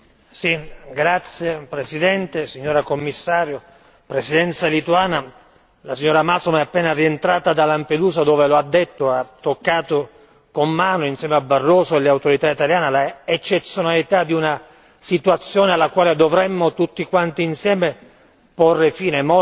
Signor Presidente, onorevoli colleghi, signora Commissario, Presidenza lituana, la signora Malmström è appena rientrata da Lampedusa dove lo ha detto ha toccato con mano, insieme a Barroso e alle autorità italiane, l'eccezionalità di una situazione alla quale dovremmo tutti quanti insieme porre fine.